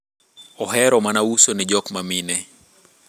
ohero mana uso ni jok mamine